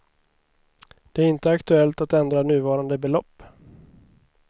Det är inte aktuellt att ändra nuvarande belopp.